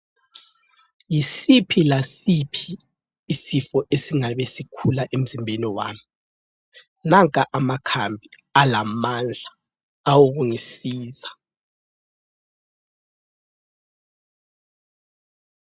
Yisiphi lasiphi isifo esingabe sikhula emzimbeni wami. Nanka amakhambi alamandla awokungisiza.